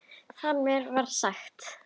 Þar með var það sagt.